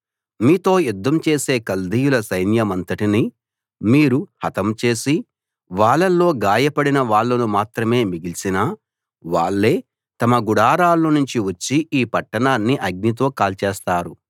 మీతో యుద్ధం చేసే కల్దీయుల సైన్యమంతటినీ మీరు హతం చేసి వాళ్ళల్లో గాయపడిన వాళ్ళను మాత్రమే మిగిల్చినా వాళ్ళే తమ గుడారాల్లోనుంచి వచ్చి ఈ పట్టణాన్ని అగ్నితో కాల్చేస్తారు